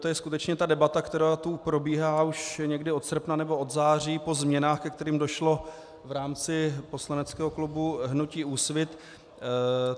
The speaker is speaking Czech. To je skutečně ta debata, která tu probíhá už někdy od srpna nebo od září po změnách, ke kterým došlo v rámci poslaneckého klubu hnutí Úsvit.